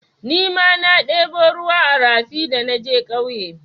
Nima na ɗebo ruwa a rafi da naje ƙauye.